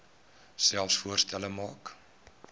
selfs voorstelle maak